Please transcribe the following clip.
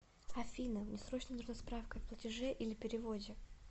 афина мне срочно нужна справка о платеже или переводе